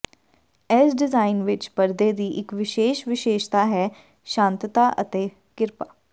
ਇਸ ਡਿਜ਼ਾਇਨ ਵਿੱਚ ਪਰਦੇ ਦੀ ਇੱਕ ਵਿਸ਼ੇਸ਼ ਵਿਸ਼ੇਸ਼ਤਾ ਹੈ ਸ਼ਾਂਤਤਾ ਅਤੇ ਕਿਰਪਾ